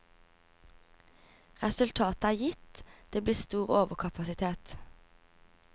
Resultatet er gitt, det blir stor overkapasitet.